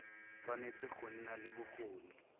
tshwanetse go nna le bokgoni